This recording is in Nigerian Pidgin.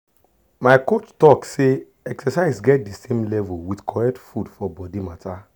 my coach talk say exercise get the same level with correct food for body matter.